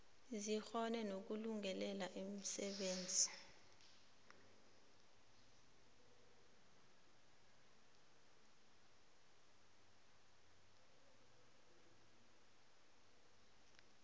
zikghone nokulungelela umsebenzi